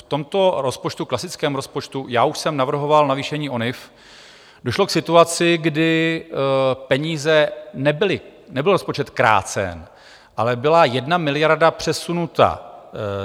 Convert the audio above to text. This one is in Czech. V tomto rozpočtu, klasickém rozpočtu, já už jsem navrhoval navýšení ONIV, došlo k situaci, kdy peníze nebyly, nebyl rozpočet krácen, ale byla jedna miliarda přesunuta